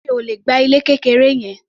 Mi ò le gba ilé kékeré yẹn.